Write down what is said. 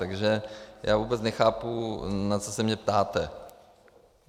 Takže já vůbec nechápu, na co se mě ptáte.